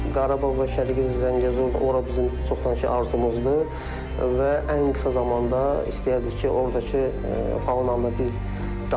Qarabağ və Şərqi Zəngəzur, ora bizim çoxdankı arzumuzdur və ən qısa zamanda istərdik ki, ordakı faunanı biz daha yaxından göstərə bilək.